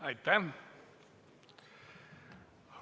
Aitäh!